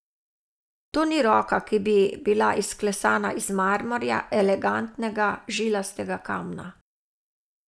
To ni roka, ki bi bila izklesana iz marmorja, elegantnega, žilastega kamna.